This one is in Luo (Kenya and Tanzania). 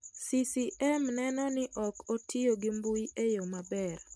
CCM neno ni ok otiyo gi mbui e yo maber.